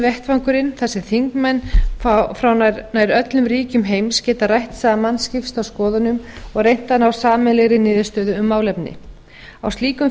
vettvangurinn þar sem þingmenn frá nær öllum ríkjum heims geta rætt saman skipst á skoðunum og reynt að ná sameiginlegri niðurstöðu um málefni a slíkum